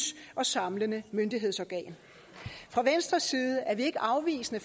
og samlende myndighedsorgan fra venstres side er vi ikke afvisende